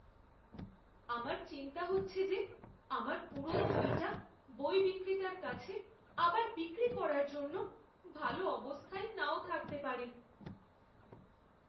আমার চিন্তা হচ্ছে যে আমার পুরনো বইটা বই বিক্রেতার কাছে আবার বিক্রি করার জন্য ভালো অবস্থায় নাও থাকতে পারে।